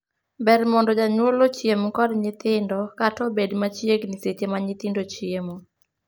Ber mondo janyuol ochiem kod nyithindo, kata obed machiegni seche ma nyithindo chiemo.